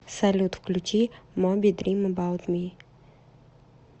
салют включи моби дрим эбаут ми